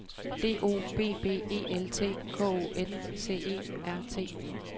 D O B B E L T K O N C E R T